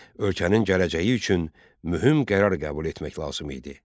Ölkənin gələcəyi üçün mühüm qərar qəbul etmək lazım idi.